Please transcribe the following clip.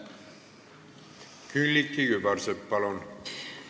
Külliki Kübarsepp, palun!